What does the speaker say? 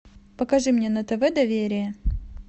покажи мне на тв доверие